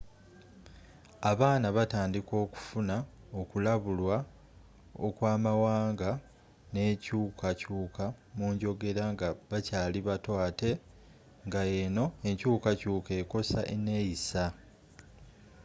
abaana batandika okufuna okulabulwa okw'amawanga n'enkyuuka kyuka mu njogera nga bakyali bato ate nga eno enkyukakyuka ekosa eneyissa